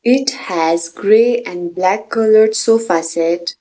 it has grey and black coloured sofa set.